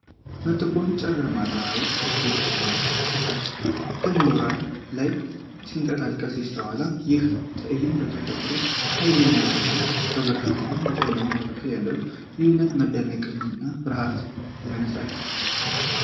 በጥቁር ጨለማ ዳራ ውስጥ እጅግ ደማቅ ቀይ የእሳተ ገሞራ ላቫ ሲንቀሳቀስ ይስተዋላል። ይህ ትዕይንት የተፈጥሮን ኃይል የሚያሳይ ነው፣ በብርሃንና በጨለማው መካከል ያለው ልዩነት መደነቅን እና ፍርሃትን ያነሳሳል።